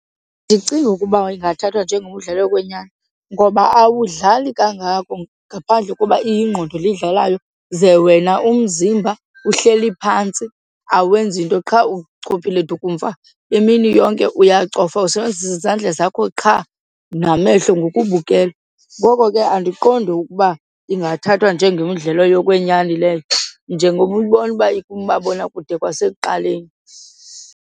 Andicinga ukuba ingathathwa njengomdlalo wokwenyani ngoba awudlali kangako ngaphandle koba iyingqondo le idlalayo ze wena umzimba uhleli phantsi awenzi nto, qha uchophile dukumfa imini yonke uyacofa, usebenzisa izandla zakho qha namehlo ngokubukela. Ngoko ke andiqondi ukuba ingathathwa njengemidlalo yokwenyani leyo njengoba uyibona uba ikumabonakude kwasekuqaleni.